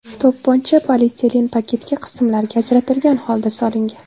To‘pponcha polietilen paketga qismlarga ajratilgan holda solingan.